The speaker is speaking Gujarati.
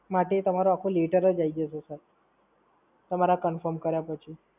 એપોઇન્ટમેન્ટ માટે તમારે આખો લેટર જ આઈ જશે. તમારા કન્ફર્મ કર્યા પછી.